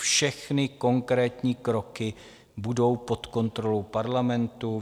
Všechny konkrétní kroky budou pod kontrolou Parlamentu.